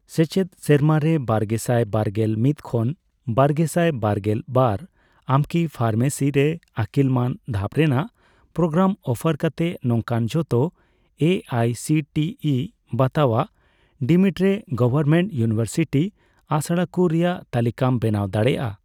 ᱥᱮᱪᱮᱫ ᱥᱮᱨᱢᱟᱨᱮ ᱵᱟᱨᱜᱮᱥᱟᱭ ᱵᱟᱨᱜᱮᱞ ᱢᱤᱛ ᱠᱷᱚᱱ ᱵᱟᱨᱜᱮᱥᱟᱭ ᱵᱟᱨᱜᱮᱞ ᱵᱟᱨ ᱟᱢᱠᱤ ᱯᱷᱟᱨᱢᱮᱥᱤ ᱨᱮ ᱟᱹᱠᱤᱞ ᱢᱟᱱ ᱫᱷᱟᱯ ᱨᱮᱱᱟᱜ ᱯᱨᱳᱜᱨᱟᱢ ᱚᱯᱷᱟᱨ ᱠᱟᱛᱮ ᱱᱚᱝᱠᱟᱱ ᱡᱷᱚᱛᱚ A I C T E ᱵᱟᱛᱟᱣᱟᱜ ᱰᱤᱢᱰ ᱜᱚᱣᱚᱨᱢᱮᱱᱴ ᱤᱭᱩᱱᱤᱣᱮᱨᱥᱤᱴᱤ ᱟᱥᱲᱟᱠᱩ ᱨᱮᱭᱟᱜ ᱛᱟᱞᱤᱠᱟᱢ ᱵᱮᱱᱟᱣ ᱫᱟᱲᱮᱭᱟᱜᱼᱟ ?